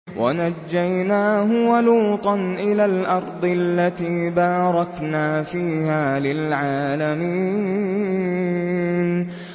وَنَجَّيْنَاهُ وَلُوطًا إِلَى الْأَرْضِ الَّتِي بَارَكْنَا فِيهَا لِلْعَالَمِينَ